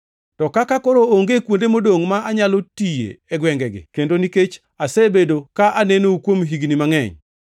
To kaka koro onge kuonde modongʼ ma anyalo tiye e gwengegi, kendo nikech asebedo ka anenou kuom higni mangʼeny,